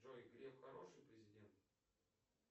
джой греф хороший президент